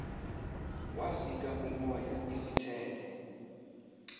wasika umoya izithende